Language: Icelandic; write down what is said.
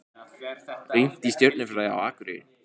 Rýnt í stjörnufræði á Akureyri